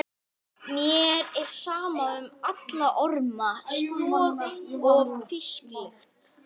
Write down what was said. Ef ekki, hverju var þá ábótavant?